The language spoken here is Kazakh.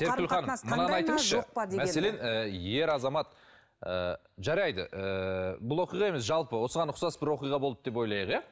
серікгүл ханым мынаны айтыңызшы мәселен ыыы ер азамат ыыы жарайды ыыы бұл оқиға емес жалпы осыған ұқсас бір оқиға болды деп ойлайық иә